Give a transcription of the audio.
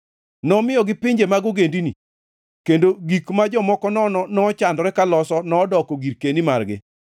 nomiyogi pinje mag ogendini, kendo gik ma jomoko nono nochandore ka loso nodoko girkeni magi,